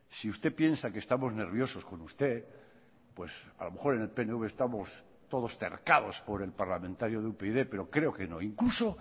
si usted piensa que estamos nerviosos con usted pues a lo mejor en el pnv estamos todos tercados por el parlamentario de upyd pero creo que no incluso